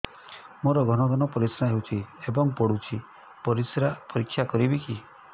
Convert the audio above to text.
ମୋର ଘନ ଘନ ପରିସ୍ରା ହେଉଛି ଏବଂ ପଡ଼ୁଛି ପରିସ୍ରା ପରୀକ୍ଷା କରିବିକି